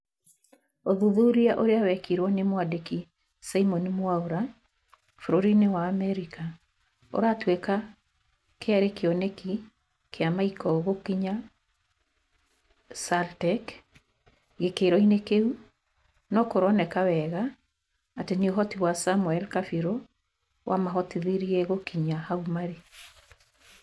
ũthuthuria ũrĩa wekirwo ni mwandĩki simon mwaura bũrũri-inĩ wa Amerka, ũtatuĩka kĩarĩ kĩoneki kia michael gukinyia saartec gĩkĩro-inĩ kĩu, no kũroneka wega ati ni uhoti wa samuel kabirũ wamahotithirie gũkinya hau marĩ